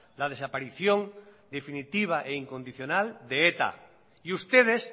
la desaparición definitiva e incondicional de eta y ustedes